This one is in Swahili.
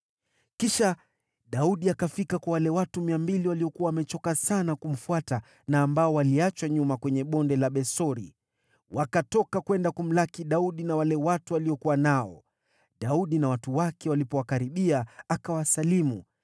Kisha Daudi akafika kwa wale watu 200 waliokuwa wamechoka sana kumfuata na ambao waliachwa nyuma kwenye Bonde la Besori. Wakatoka kwenda kumlaki Daudi na wale watu aliokuwa nao. Daudi na watu wake walipowakaribia, akawasalimu.